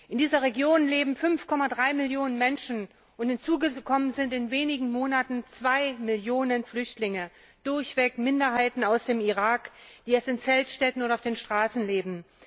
In dieser Region leben 5,3 Millionen Menschen, und hinzugekommen sind in wenigen Monaten zwei Millionen Flüchtlinge, durchweg Minderheiten aus dem Irak, die jetzt in Zeltstädten oder auf den Straßen leben.